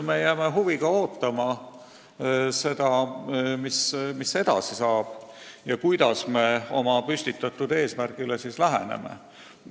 Me jääme huviga ootama, mis edasi saab ja kuidas me oma püstitatud eesmärgile läheneme.